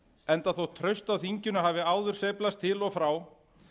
enda þótt traust á þinginu hafi áður sveiflast til og frá